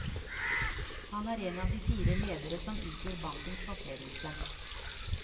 Han er en av fire ledere som utgjør bankens toppledelse.